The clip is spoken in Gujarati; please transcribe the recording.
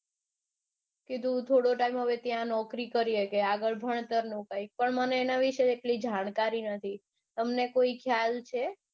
કે તું થોડો ટીમે ત્યાં નોકરી કરીયે કે આગળ ભણતરનું કઈંક પણ મને એના વિશે એટલી જાણકારી નથી તમને કોઈ ખ્યાલ છે.